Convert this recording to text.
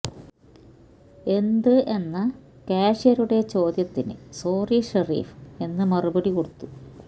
എന്ത് എന്ന കാഷ്യരുടെ ചോദ്യത്തിന് സോറി ഷെരീഫ് എന്ന് മറുപടി കൊടുത്തു